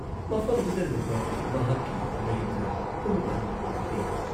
ꯃꯐꯝꯗꯨꯗ ꯂꯩꯕ ꯃꯍꯥꯛꯀꯤ ꯃꯌꯨꯝꯗ ꯄꯨꯡ ꯑꯅꯤꯔꯣꯝ ꯂꯩꯔꯦ ꯫